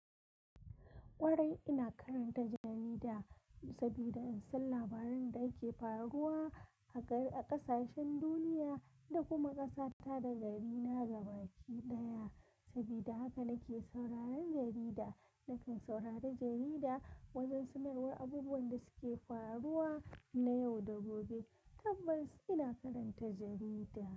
Ƙwarai ina karanta jarida saboda in san labaran da ke faruwa a ƙasashen duniya da kuma ƙasata da garina gaba ɗaya. Saboda haka nake sauraron jarida. Nakan saurari jarida wajen sanarwar abubuwan da suke faruwa na yau da gobe. Tabbas ina karanta jarida.